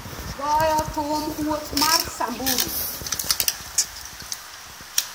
goyo thum wuoth mar samburu